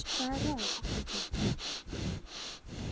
Hvaða ráð áttu til þeirra?